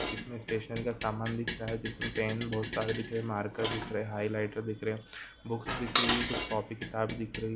इसमे स्टेशनरी का सामान दिख रहा हैं जिसमे पेन बहुत सारे दिख रहे हैं मार्कर दिख रहे हैं हाईलाइटर दिख रहे हैं बुक्स दिख रही हैं कुछ कॉपी किताब दिख रही--